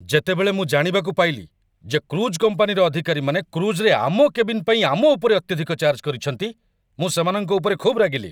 ଯେତେବେଳେ ମୁଁ ଜାଣିବାକୁ ପାଇଲି ଯେ କ୍ରୁଜ୍ କମ୍ପାନୀର ଅଧିକାରୀମାନେ କ୍ରୁଜ୍‌ରେ ଆମ କେବିନ୍ ପାଇଁ ଆମ ଉପରେ ଅତ୍ୟଧିକ ଚାର୍ଜ କରିଛନ୍ତି, ମୁଁ ସେମାନଙ୍କ ଉପରେ ଖୁବ୍ ରାଗିଲି।